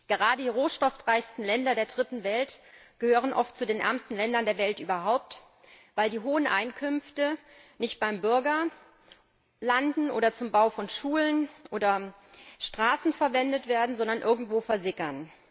Gerade die rohstoffreichsten Länder der Dritten Welt gehören oft zu den ärmsten Ländern der Welt überhaupt, weil die hohen Einkünfte nicht beim Bürger landen oder zum Bau von Schulen oder Straßen verwendet werden, sondern irgendwo versickern.